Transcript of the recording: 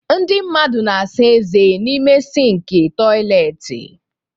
Ndị mmadụ na-asa ezé n'ime sịnkị toịletị.